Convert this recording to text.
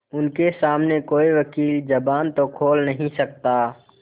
उनके सामने कोई वकील जबान तो खोल नहीं सकता